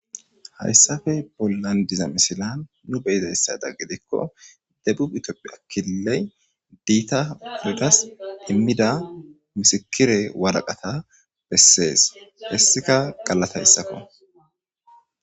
Hayssafe bollan diza misilan nu beyizayssada gidikko dephu itopphi akiley diita piregas immida misikire waraqata bessees hessika galatayssakko